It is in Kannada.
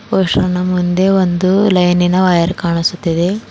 ಪುರುಷನ ಮುಂದೆ ಒಂದು ಲೈನಿನ ವೖರ್ ಕಾಣಿಸುತ್ತಿದೆ.